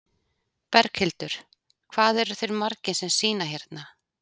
Berghildur: Hvað eru þeir margir sem sýna hérna?